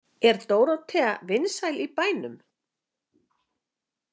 Er Dórótea vinsæl í bænum?